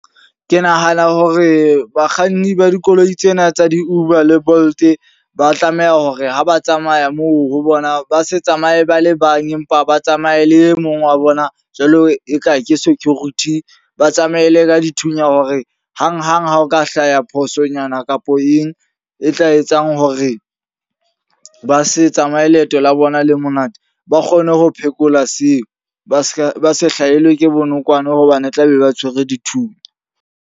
Ke nahana hore bakganni ba dikoloi tsena tsa di-Uber le Bolt, ba tlameha hore ha ba tsamaya moo ho bona ba se tsamaye ba le bang empa ba tsamaye le e mong wa bona jwalo e ka ke security. Ba tsamaye le ka dithunya hore hang hang ha o ka hlaya phosonyana kapo eng e tla etsang hore ba se tsamaye leeto la bona le monate. Ba kgone ho phekola seo. Ba se ka ba se hlahelwe ke bonokwane hobane e tla be ba tshwere dithunya.